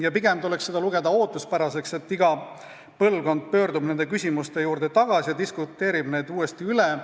Ja pigem tuleks seda lugeda ootuspäraseks, et iga põlvkond pöördub nende küsimuste juurde tagasi ja diskuteerib nende üle.